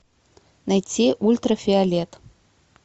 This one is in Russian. найти ультрафиолет